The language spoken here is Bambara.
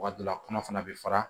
Waati dɔ la kɔnɔ fana bɛ fara